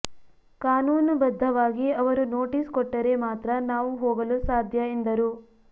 ಕಾನೂನು ಬದ್ಧವಾಗಿ ಅವರು ನೋಟೀಸ್ ಕೊಟ್ಟರೆ ಮಾತ್ರ ನಾವು ಹೋಗಲು ಸಾಧ್ಯ ಎಂದರು